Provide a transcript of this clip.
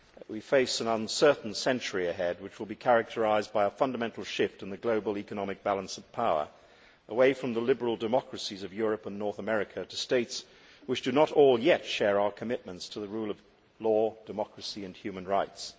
We face an uncertain century ahead, which will be characterised by a fundamental shift in the global economic balance of power away from the liberal democracies of Europe and North America to states which do not all share, as yet, our commitments to the rule of law, democracy and human rights.